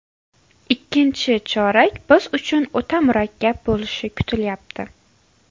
Ikkinchi chorak biz uchun o‘ta murakkab bo‘lishi kutilyapti.